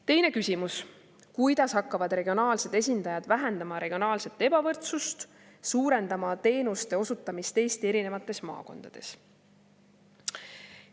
Teine küsimus: "Kuidas hakkavad regionaalsed esindajad vähendama regionaalset ebavõrdsust ja suurendama teenuste osutamis Eesti erinevates maakondades?